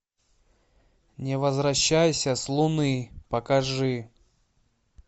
не возвращайся с луны покажи